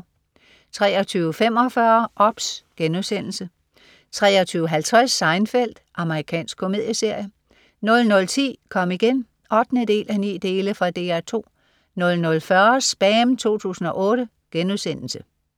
23.45 OBS* 23.50 Seinfeld. Amerikansk komedieserie 00.10 Kom igen 8:9. Fra DR 2 00.40 SPAM 2008*